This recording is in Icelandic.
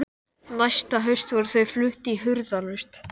Næsta haust voru þau flutt í hurðarlaust.